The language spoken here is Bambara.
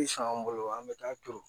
an bolo an bɛ taa turu